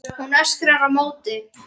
Hún öskrar á móti.